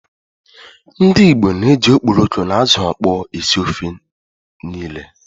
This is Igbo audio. Ndi Igbo na-eji okporoko na ázụ̀ ọkpọọ esi ofe niile.